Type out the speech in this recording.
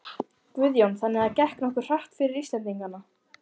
Guðjón: Þannig að það gekk nokkuð hratt fyrir Íslendingana?